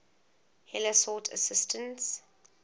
heller sought assistance